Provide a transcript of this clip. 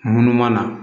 Munun mana